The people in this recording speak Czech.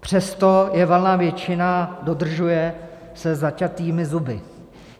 Přesto je valná většina dodržuje se zaťatými zuby.